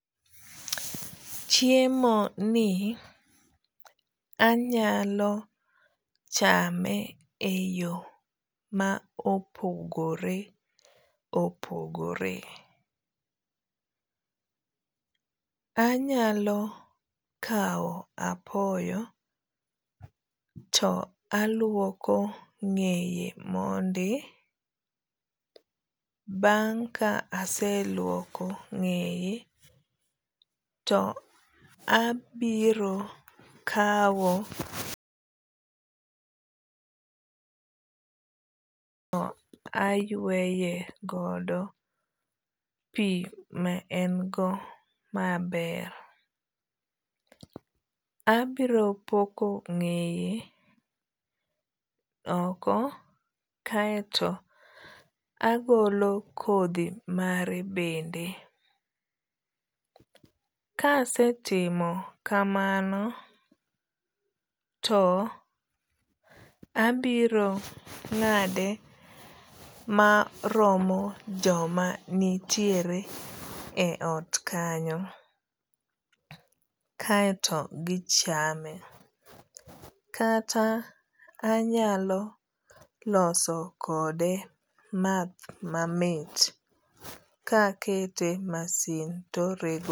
Chemo ni anyalo chame e yo ma opogore opogore. Anyalo kaw apoyo to aluoko ng'eye mondi. Bang' ka aseluoko ng'eye to abiro kaw ayweye godo pi ma en go maber. Abiro poko ng'eye oko kaeto agolo kodhi mare bende. Ka asetimo kamano to abiro ng'ade maromo joma nitiere e ot kanyo kaeto gichame. Kata anyalo loso kode math mamit ka akete e masin